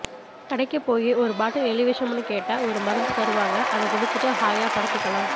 கடைக்கு போயி ஒரு பாட்டில் எலி விஷமுனு கேட்டா ஒரு மருந்து தருவாங்க அத குடிச்சிட்டு ஹாயா படுத்துக்கலாம்